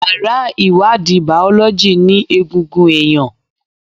Yàrá ìwádìí Bàọ́lọ́jì ní egungun ẹ̀yàn.